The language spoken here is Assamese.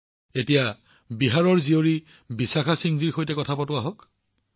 আহক এতিয়া বিহাৰৰ সন্তান বিশাখা সিংজীৰ সৈতে কথা পাতোঁ আহক